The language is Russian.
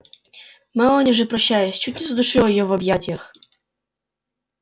мелани же прощаясь чуть не задушила её в объятиях